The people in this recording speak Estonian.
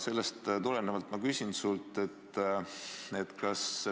Sellest tulenevalt ma küsingi sult.